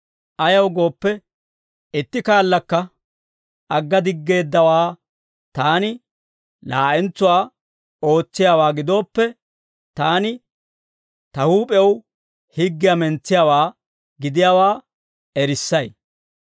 Ayaw gooppe, itti kaallakka agga diggeeddawaa taani laa'entsuwaa ootsiyaawaa gidooppe, taani ta huup'ew higgiyaa mentsiyaawaa gidiyaawaa erissay.